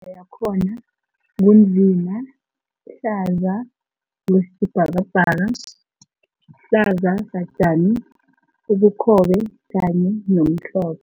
a yakhona ngu nzima, hlaza okwesibhakabhaka, hlaza satjani, ubukhobe kanye nomhlo